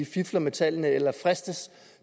fifler med tallene eller fristes